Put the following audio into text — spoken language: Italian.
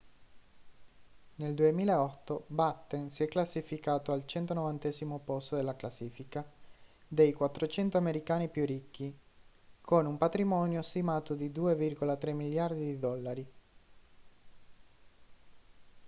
nel 2008 batten si è classificato al 190° posto della classifica dei 400 americani più ricchi con un patrimonio stimato di 2,3 miliardi di dollari